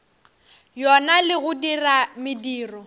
yona le go dira mediro